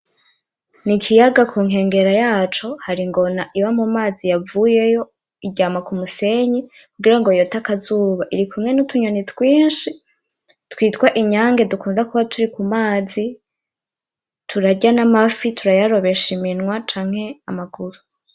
N'ikiyaga kunkengera yaco har' ingona iba mu mazi yavuyeyo iryama kumusenyi kugirango yot'akazuba, irikumwe n' utunyoni twinshi twitw inyange dukunda kuba turi ku mazi turarya n amafi turayarobesh iminwa cank' amaguru